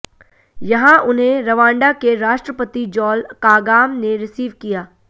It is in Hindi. यहां उन्हें रवांडा के राष्ट्रपति जॉल कागाम ने रिसीव किया